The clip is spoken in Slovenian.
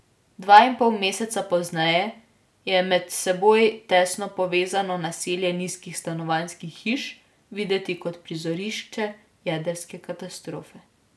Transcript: Dva in pol meseca pozneje je med seboj tesno povezano naselje nizkih stanovanjskih hiš videti kot prizorišče jedrske katastrofe.